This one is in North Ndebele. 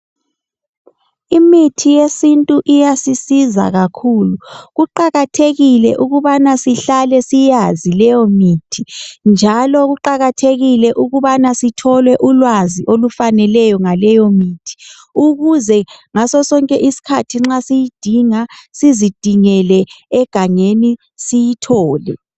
Imithi yesintu iyasisiza kakhulu, kuqakathekile ukubana sihlale siyazi leyo mithi .Njalo kuqakathekile ukubana Sithole ulwazi olufaneleyo ngaleyo mithi .ukuze ngaso sonke isikhathi nxa siyidinga sizidingele egangeni siyithole.